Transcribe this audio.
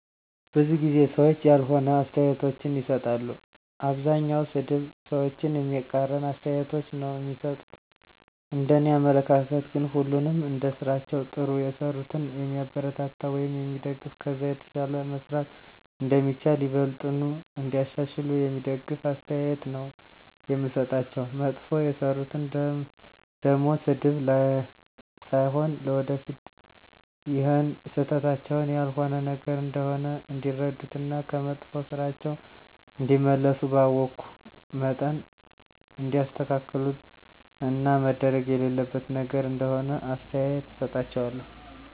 ብዙ ጊዜ ሰዎች ያልሆነ አስተያየቶችን ይሰጣሉ። አብዛኛዉ ሰድብ፣ ሰዎችን የሚቃረን አስተያየቶች ነዉ እሚሰጡት፤ እንደኔ አመለካከት ግን ሁሉንም እንደስራቸዉ ጥሩ የሰሩትን የሚያበረታታ ወይም የሚደገፍ ከዛ የተሻለ መስራት እንደሚቻል፣ ይበልጥኑ እንዲያሻሽሉ የሚደግፍ አስተያየት ነዉ የምሰጣቸዉ፣ መጥፎ የሰሩትን ደሞ ስድብ ሳይሆን ለወደፊት ይሀን ስህተታቸዉን ያልሆነ ነገር እንደሆነ እንዲረዱት እና ከመጥፋ ስራቸዉ እንዲመለሱ ባወኩት መጠን እንዲያስተካክሉት እና መደረግ የሌለበት ነገር እንደሆነ አስተያየት እሰጣቸዋለሁ።